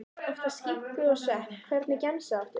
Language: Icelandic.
Oftast skinku og svepp Hvernig gemsa áttu?